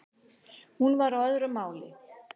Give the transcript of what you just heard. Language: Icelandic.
Hún var á öðru máli.